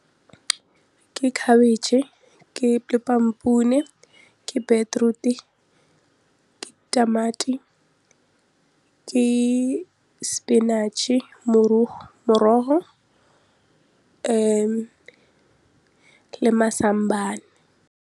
Ke khabitšhe, ke lepampune, ke beetroot-e, ke tamati, ke spinach-e morogo le mazambane.